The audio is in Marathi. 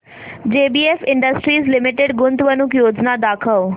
जेबीएफ इंडस्ट्रीज लिमिटेड गुंतवणूक योजना दाखव